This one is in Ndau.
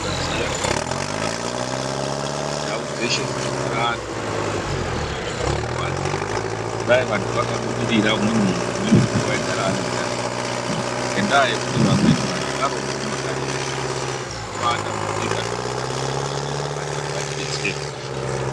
Kusaziya kwakandofanana nekufa. Ndau dzeshe dzinogara antu urombo ndihwo hunonyanya kutikuwadza. Dai vantu vakabudirira munhu umwe naumwe munhu aigara neutano hwake ngendaa yekuti vanhu varombo mumakanyi mwatinogara umwo vanombaatambudziko zvekuti vanoda kuti amweni mapandiko atidetsere.